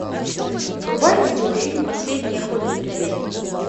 врубай видеофильм последний охотник на ведьм